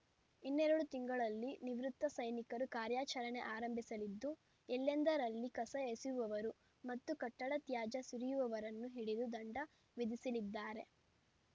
ಇನ್ನೆರಡು ತಿಂಗಳಲ್ಲಿ ನಿವೃತ್ತ ಸೈನಿಕರು ಕಾರ್ಯಚರಣೆ ಆರಂಭಿಸಲಿದ್ದು ಎಲ್ಲೆಂದರಲ್ಲಿ ಕಸ ಎಸೆಯುವವರು ಮತ್ತು ಕಟ್ಟಡ ತ್ಯಾಜ್ಯ ಸುರಿಯುವವರನ್ನು ಹಿಡಿದು ದಂಡ ವಿಧಿಸಿಲಿದ್ದಾರೆ